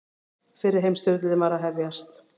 Fyrri heimsstyrjöldin var að hefjast.